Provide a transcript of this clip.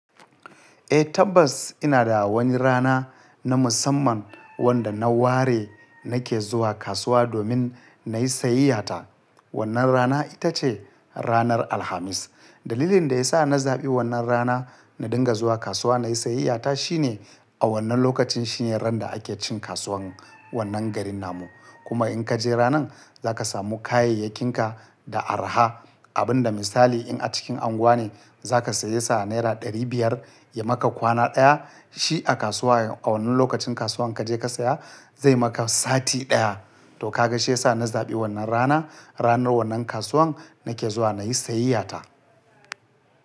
Eh tabbas ina da wani rana na musamman wanda na ware nake zuwa kasuwa domin na yi sayayyata. Wannan rana ita ce ranar Alhamis. Dalilin da ya sa na zaɓi wannan rana na dinga zuwa kasuwa na yi sayayyata shine a wannan lokacin shine ran da ake cin kasuwan wannan garin namu. Kuma in ka je ranan za ka samu kayayyakinka da araha. Abin da misali in a cikin unguwa ne za ka saye sa naira ɗari biyar ya maka kwana ɗaya, shi a kasuwa a wannan lokacin kasuwan ka je ka saya zai maka sati ɗaya. To ka ga shi ya sa na zaɓi wannan rana. Ranar wannan kasuwan nake zuwa na yi sayiyata.